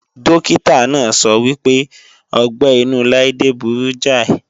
Dókítà náà sọ wípé ọgbẹ́-inú Laide burú jáì